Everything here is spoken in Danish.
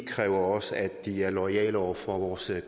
kræver også at de er loyale over for vores